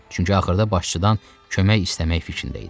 Çünki axırda başçıdan kömək istəmək fikrində idi.